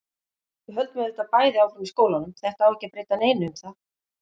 Við höldum auðvitað bæði áfram í skólanum, þetta á ekki að breyta neinu um það.